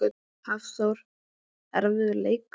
Hafþór: Erfiður leikur?